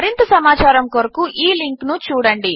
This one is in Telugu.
మరింత సమాచారము కొరకు ఈ లింక్ httpspoken tutorialorgNMEICT Intro